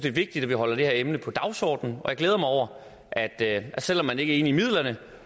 er vigtigt at vi holder det her emne på dagsordenen og jeg glæder mig over at at selv om man ikke er enige i midlerne